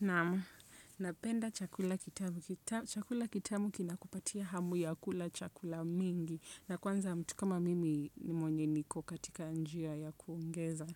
Naam. Napenda chakula kitamu. Chakula kitamu kinakupatia hamu ya kula chakula mingi. Na kwanza mtu kama mimi, mwenye niko katika njia ya kuongeza